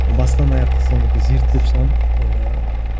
бастан аяқ зерттеп шығамын ыыы